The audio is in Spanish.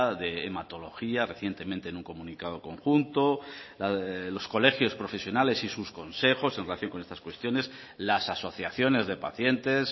de hematología recientemente en un comunicado conjunto los colegios profesionales y sus consejos en relación con estas cuestiones las asociaciones de pacientes